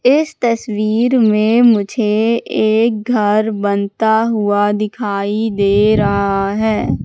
इस तस्वीर में मुझे एक घर बनता हुआ दिखाई दे रहा है।